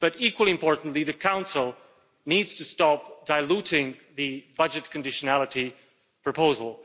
But, equally importantly, the Council needs to stop diluting the budget conditionality proposal.